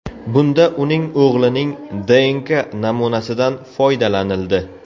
Bunda uning o‘g‘lining DNK namunasidan foydalanildi.